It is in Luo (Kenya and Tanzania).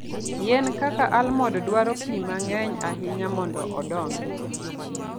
Yien kaka almond dwaro pi mang'eny ahinya mondo odongi.